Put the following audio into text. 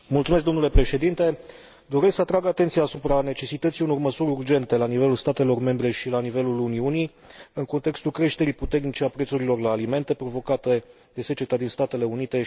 Doresc să atrag atenția asupra necesității unor măsuri urgente la nivelul statelor membre și la nivelul Uniunii, în contextul creșterii puternice a prețurilor la alimente, provocate de seceta din Statele Unite și Europa de Est.